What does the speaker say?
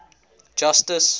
justice